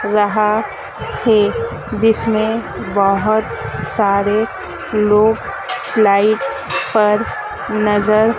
यहां से जिसने बहोत सारे लोग स्लाइड पर नज़र--